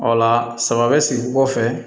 O la sama bɛ sigi kɔfɛ fɛ